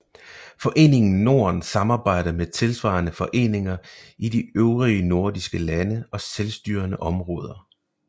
Foreningen Norden samarbejder med tilsvarende foreninger i de øvrige nordiske lande og selvstyrende områder